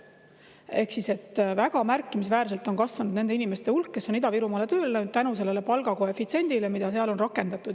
Ehk väga märkimisväärselt on kasvanud nende inimeste hulk, kes on Ida-Virumaale tööle läinud tänu sellele palgakoefitsiendile, mida seal on rakendatud.